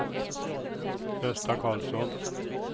Gösta Carlsson